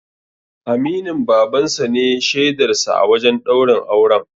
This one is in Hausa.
Aminin Baban sa ne shaidar sa a wajen ɗaurin auren.